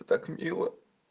так мило